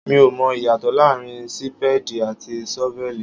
Mi ò mọ ìyàtọ̀ láàárín Sípéèdì àti ṣọ́vẹ́lì.